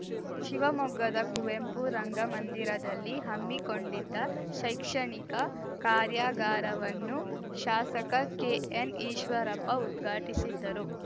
ಶಿವಮೊಗ್ಗದ ಕುವೆಂಪು ರಂಗಮಂದಿರದಲ್ಲಿ ಹಮ್ಮಿಕೊಂಡಿದ್ದ ಶೈಕ್ಷಣಿಕ ಕಾರ್ಯಾಗಾರವನ್ನು ಶಾಸಕ ಕೆ ಎನ್ ಈಶ್ವರಪ್ಪ ಉದ್ಘಾಟಿಸಿದ್ದರು